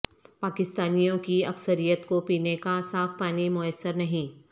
پاکستانیوں کی اکثریت کو پینے کا صاف پانی میسر نہیں